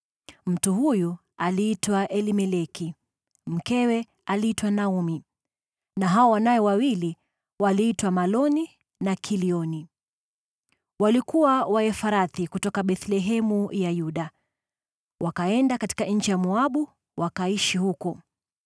Mtu huyu aliitwa Elimeleki, mkewe aliitwa Naomi, na hao wanawe wawili waliitwa Maloni na Kilioni. Walikuwa Waefrathi kutoka Bethlehemu ya Yuda. Wakaenda katika nchi ya Moabu, wakaishi huko.